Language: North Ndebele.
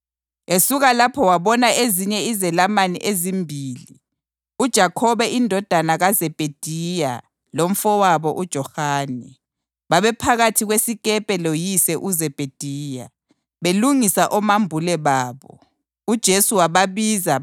Esuka lapho wabona ezinye izelamani ezimbili, uJakhobe indodana kaZebhediya lomfowabo uJohane. Babephakathi kwesikepe loyise uZebhediya, belungisa omambule babo. UJesu wababiza,